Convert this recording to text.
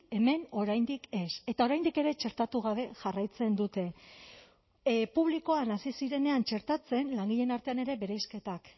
hemen oraindik ez eta oraindik ere txertatu gabe jarraitzen dute publikoan hasi zirenean txertatzen langileen artean ere bereizketak